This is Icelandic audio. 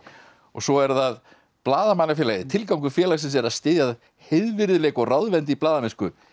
svo er það Blaðamannafélagið tilgangur félagsins er að styðja heiðvirðileik og ráðvendni í blaðamennsku